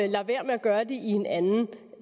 lader være med at gøre det i en anden